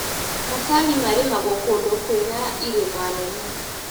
Macani marĩmagwo kũndũ kwĩna irĩma nene.